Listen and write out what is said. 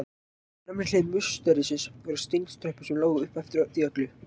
Á fremri hlið musterisins voru steintröppur sem lágu upp eftir því öllu.